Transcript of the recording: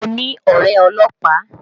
Mo ní ọ̀rẹ́ ọlọ́pàá